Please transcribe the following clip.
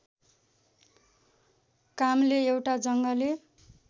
काम्ले एउटा जङ्गली